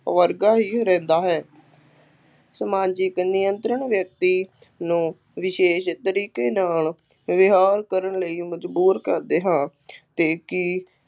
ਵਰਗਾ ਹੀ ਰਹਿੰਦਾ ਹੈ, ਸਮਾਜਿਕ ਨਿਯੰਤਰਣ ਵਿਅਕਤੀ ਨੂੰ ਵਿਸ਼ੇਸ਼ ਤਰੀਕੇ ਨਾਲ ਵਿਵਹਾਰ ਕਰਨ ਲਈ ਮਜ਼ਬੂਰ ਕਰਦੇ ਹਨ ਅਤੇ ਕਿ